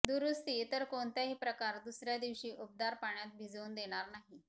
दुरुस्ती इतर कोणताही प्रकार दुसऱ्या दिवशी उबदार पाण्यात भिजवून देणार नाही